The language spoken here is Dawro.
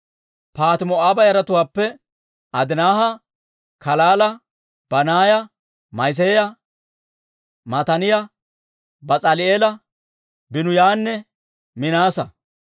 Paahati-Moo'aaba yaratuwaappe Adinaaha, Kalaala, Banaaya, Ma'iseeya, Mataaniyaa, Bas'aali'eela, Biinuyanne Minaasa.